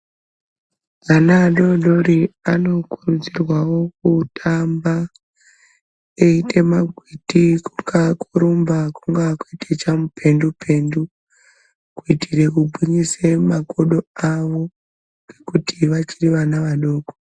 Vana adodori anokurudzirwawo kutamba eite magwiti kunga kurumba kunga kuite chamupendu pendu kuitire kugwinyise makodo avo ngekuti vachiri vana adoko.